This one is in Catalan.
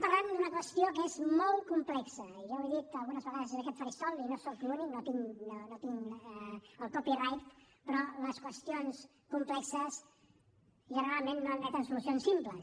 parlem d’una qüestió que és molt complexa i ja ho he dit algunes vegades des d’aquest faristol i no soc l’únic no tinc el copyright però les qüestions complexes generalment no admeten solucions simples